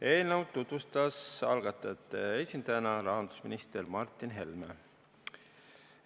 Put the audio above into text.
Eelnõu tutvustas algatajate esindajana rahandusminister Martin Helme.